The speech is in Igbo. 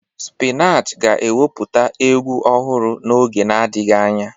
Spinach ga-ewepụta egwu ọhụrụ n'oge na-adịghị anya.